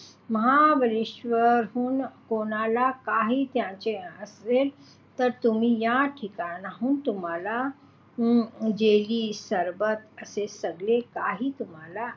महाबळेश्वरहून कोणाला काही न्यायाचे असेल तर तुम्ही या ठिकाणाहून तुम्हाला जेली सरबत असे सगळे काही तुम्हाला,